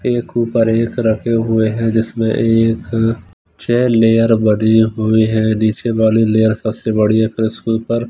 एक ऊपर एक रखे हुए हैं जिसमें एक छह लेयर बने हुए हैं नीचे वाली लेयर सबसे बड़ी है फिर उसके ऊपर --